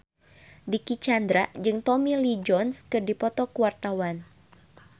Dicky Chandra jeung Tommy Lee Jones keur dipoto ku wartawan